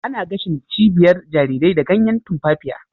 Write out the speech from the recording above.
Ana gashin cibiyar jarirai da ganyan tumfafiya